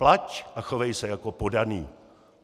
Plať a chovej se jako poddaný!